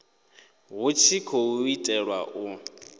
hu tshi khou itelwa u